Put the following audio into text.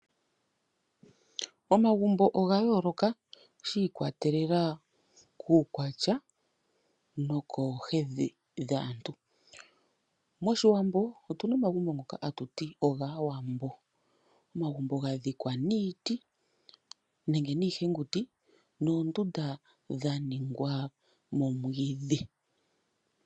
Omagumbo oga yoloka shi ikwatelela kukwatya nokohedhi dhaantu. Moshiwambo otuna omagumbo ngono ha tuti ogAawambo, omagumbo ga dhikwa niiti nenge niihenguti noondunda dha ningwa momwidhi.